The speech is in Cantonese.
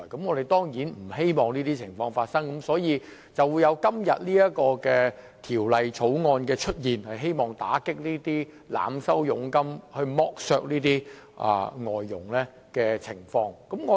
我們當然不希望發生這種情況，因而便有了今天這項《條例草案》，希望打擊這些透過濫收佣金剝削外傭的情況。